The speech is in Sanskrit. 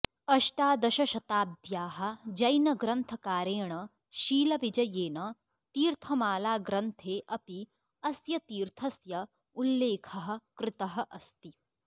अष्टादशशताब्द्याः जैनग्रन्थकारेण शीलविजयेन तीर्थमालाग्रन्थे अपि अस्य तीर्थस्य उल्लेखः कृतः अस्ति